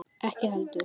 Ekki heldur